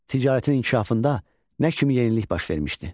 Ticarətin inkişafında nə kimi yenilik baş vermişdi?